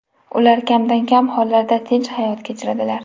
Ular kamdan-kam hollarda tinch hayot kechiradilar.